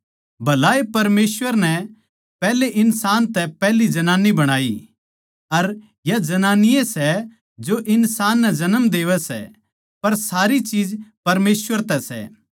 भलाए परमेसवर नै पैहले इन्सान तै पैहली जनानी बणाई अर या जनानी ए सै जो इन्सान नै जन्म देवै सै पर सारी चीज परमेसवर तै सै